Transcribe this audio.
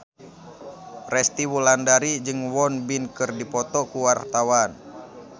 Resty Wulandari jeung Won Bin keur dipoto ku wartawan